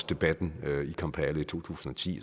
debatten i kampala i to tusind og ti